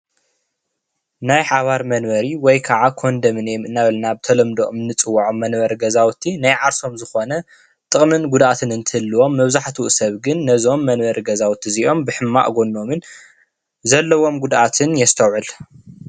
እዚ ምስሊ ናይ ሓባር መንበሪ ተባሂሉ ይፅዋዕ።